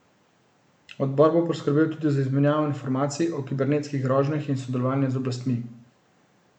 Odbor bo skrbel tudi za izmenjavo informacij o kibernetskih grožnjah in sodelovanje z oblastmi.